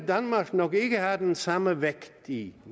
danmark nok ikke have den samme vægt i